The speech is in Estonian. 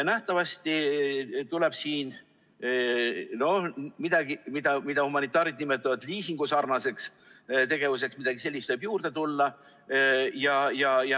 Nähtavasti tuleb siia midagi sellist, mida humanitaarid nimetavad liisingusarnaseks tegevuseks, juurde tuua.